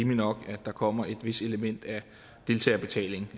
nok at der kommer et vist element af deltagerbetaling